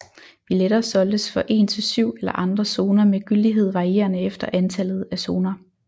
Billetter solgtes for en til syv eller alle zoner med gyldighed varierende efter antallet af zoner